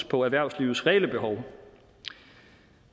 på erhvervslivets reelle behov